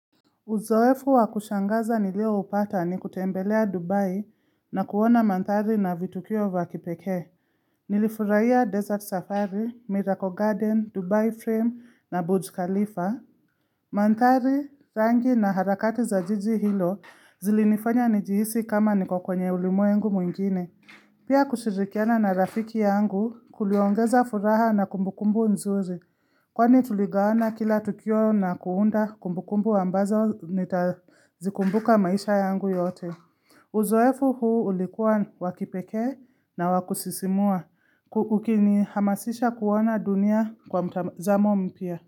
Uzoefu wa kushangaza nilioupata ni kutembelea Dubai na kuona mandhari na vitukio vya kipekee. Nilifurahia Desert safari, Miracle Garden, Dubai Frame na Boudj Khalifa. Mandhari rangi na harakati za jiji hilo zilinifanya nijihisi kama niko kwenye ulimwengu mwingine. Pia kushirikiana na rafiki yangu kuliongeza furaha na kumbukumbu nzuri. Kwani tuligawana kila tukio na kuunda kumbu kumbu ambazo nitazikumbuka maisha yangu yote. Uzoefu huu ulikuwa wakipekee na wakusisimua ukinihamasisha kuona dunia kwa mtazamo mpya.